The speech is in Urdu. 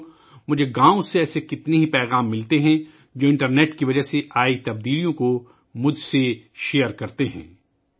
ساتھیو ، مجھے گاؤوں سے اس طرح کے بہت سے پیغامات ملتے ہیں، جو انٹرنیٹ سے ہونے والی تبدیلیوں کو میرے ساتھ شیئر کرتے ہیں